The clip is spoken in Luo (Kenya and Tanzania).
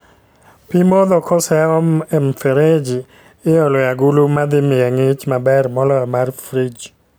Pii modho koseom e mfereji, iolo e agulu madhi miye ng'ich maber moloyo mar frij